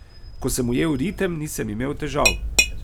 Ko sem ujel ritem, nisem imel težav.